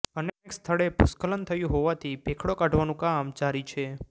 અનેક સ્થળે ભૂસ્ખલન થયું હોવાથી ભેખડો કાઢવાનું કામ જારી છે